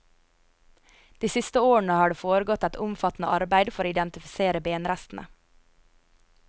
De siste årene har det foregått et omfattende arbeid for å identifisere benrestene.